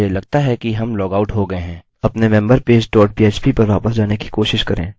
मुझे लगता है कि हम लॉगआउट हो गये हैं अपने member page dot php पर वापस जाने की कोशिश करें